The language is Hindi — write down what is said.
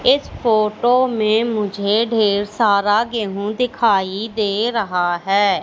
इस फोटो में मुझे ढेर सारा गेहूं दिखाई दे रहा है।